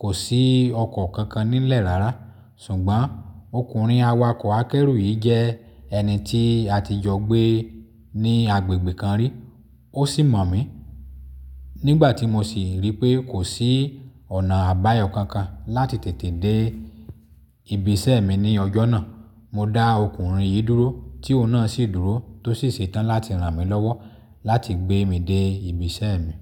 kò sí ọkọ̀ kankan nílẹ̀ rárá. Ṣùgbọ́n ọkùnrin awakọ̀ akẹ́rù yìí jẹ́ ẹni tí a ti jọ gbé ní agbègbè kan rí, ó sì mọ̀ mí. Nígbà tí mo sì rí pé kò sí ọ̀nà àbáyọ kankan láti tètè dé ibiṣẹ́ mi ní ọjọ́ náà, mo dá ọkùnrin yìí dúró tí òun náà sì dúró tó sì ṣetán láti ràn mí lọ́wọ́ láti gbé mi dé ibiṣẹ́ mi.